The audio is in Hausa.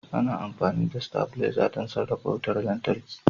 Ana amfani da stabilaiza don sarrafa wutar lantarki.